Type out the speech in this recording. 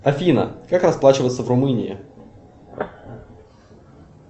афина как расплачиваться в румынии